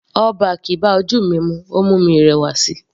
All back bá ojú mi mu, ó mú mi rẹwà síi.